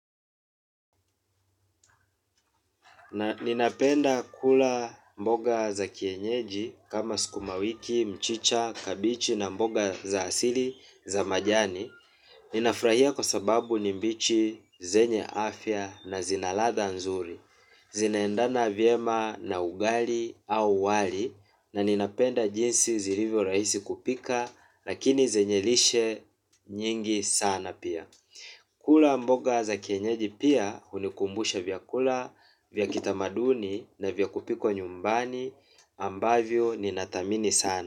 Ninapenda kula mboga za kienyeji kama sukumawiki, mchicha, kabichi na mboga za asili za majani. Ninafurahia kwa sababu ni mbichi, zenye afya na zina ladha nzuri. Zinaendana vyema na ugali au wali na ninapenda jinsi zilivyo rahisi kupika lakini zenye lishe nyingi sana pia. Kula mboga za kienyeji pia hunikumbusha vyakula vya kitamaduni na vya kupikwa nyumbani ambavyo ninathamini sana.